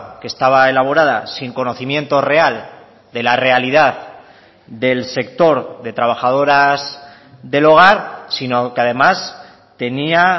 que estaba elaborada sin conocimiento real de la realidad del sector de trabajadoras del hogar sino que además tenía